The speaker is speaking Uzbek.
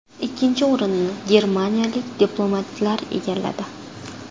Ikkinchi o‘rinni germaniyalik diplomatlar egalladi.